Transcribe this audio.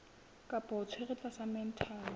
kapa o tshwerwe tlasa mental